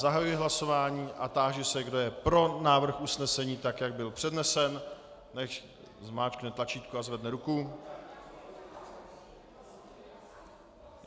Zahajuji hlasování a táži se, kdo je pro návrh usnesení tak, jak byl přednesen, nechť zmáčkne tlačítko a zvedne ruku.